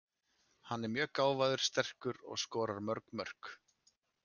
Hann er mjög gáfaður, sterkur og skorar mörg mörk.